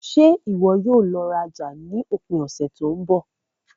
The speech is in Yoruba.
Ṣe iwọ yóò lọ raja ni ipari ose to nbọ?